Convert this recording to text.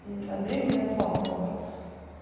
мм андрей меня звал как бы